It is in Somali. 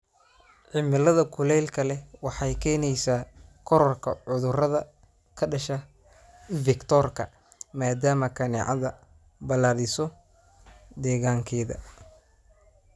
Cimilada kulaylka leh waxay keenaysaa kororka cudurrada ka dhasha vector-ka, maadaama kaneecada balaadhiso deegaankeeda.